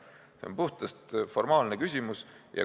See on puhtalt formaalne küsimus.